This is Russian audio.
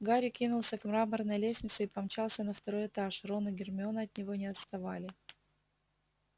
гарри кинулся к мраморной лестнице и помчался на второй этаж рон и гермиона от него не отставали